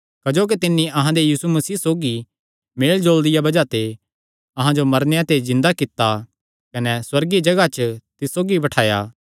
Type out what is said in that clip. क्जोकि तिन्नी अहां दे यीशु मसीह सौगी मेलजोल दिया बज़ाह ते अहां जो मरेयां ते जिन्दा कित्ता कने सुअर्गीय जगाह च तिस सौगी बठाया